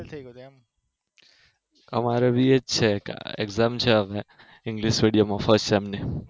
અમારે ભી એવું જ છે exam છે હમણાં english medium માં first sem ની